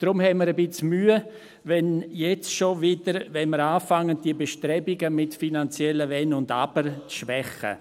Deshalb haben wir ein bisschen Mühe, wenn wir jetzt schon wieder anfangen, diese Bestrebungen mit finanziellen Wenn und Aber zu schwächen.